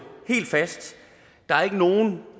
helt fast der er ikke nogen